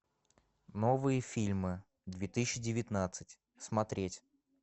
новые фильмы две тысячи девятнадцать смотреть